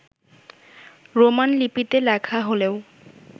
Roman লিপিতে লেখা হলেও